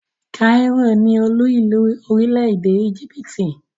kairó (cairo) ni olú ìlú orílẹ̀-èdè íjíbítì ( Egypt).